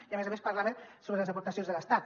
i a més a més parlava sobre les aportacions de l’estat